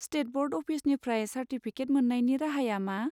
State board अफिसनिफ्राय certificate मोन्नायनि राहाया मा?